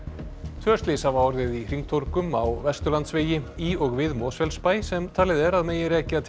tvö slys hafa orðið í hringtorgum á Vesturlandsvegi í og við Mosfellsbæ sem talið er að megi rekja til